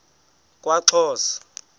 kwaxhosa